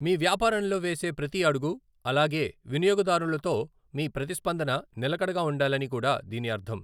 మీ వ్యాపారంలో వేసే ప్రతీ అడుగు అలాగే వినియోగదారులతో మీ ప్రతిస్పందన నిలకడగా ఉండాలని కూడా దీని అర్ధం.